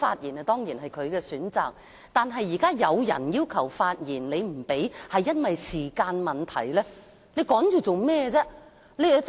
議員當然可以選擇不發言，但現在有議員要求發言，你卻因為時間所限不讓他們發言。